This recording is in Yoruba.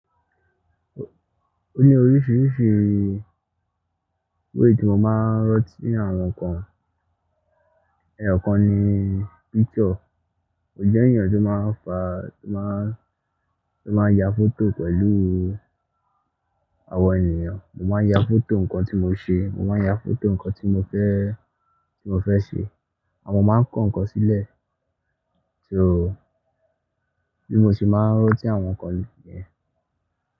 O ní oríṣiríṣi way tí mo máa ń rantí awon nkan. Ẹyokan nii picture. Mo jẹ́ ènìyàn tó máa ń fa, tó máa ń, tó máa ń ya foto pẹ̀lú àwọn ènìyàn. Mo máa ń ya foto nǹkan tí mo ṣe, mo máa ń ya foto nǹkan tí mo fẹ́, tí mo fẹ́ ṣe. Àmọ́ mo máa ń kó nǹkan sílẹ̀. So, bí mo ṣe máa ń ranti àwọn nǹkan nìyẹn.